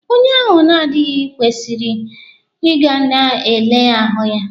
Onye ahụ na-adịghi kwesịrị ị ga ka e lee ya ahụ.